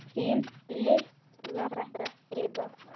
Þín litla frænka Gyða.